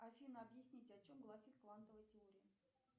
афина объясните о чем гласит квантовая теория